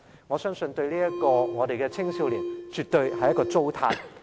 我相信對於這些青少年來說，這絕對是一種糟蹋。